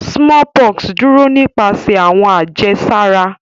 Smallpox duro nipasẹ awọn ajesara.